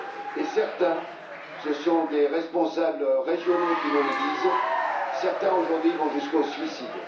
Et certains, ce sont des responsables régionaux qui nous le disent, certains, aujourd'hui, vont jusqu'au suicide.